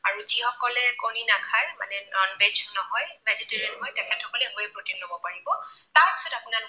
আৰু যিসকলে কণী নাখায়, মানে non veg নহয়, vegetarian তেখেত সকলে whey protein লব পাৰিব।